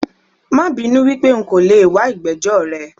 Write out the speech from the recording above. Mabinú wípé nko leè wa ìgbẹ́jọ́ rẹ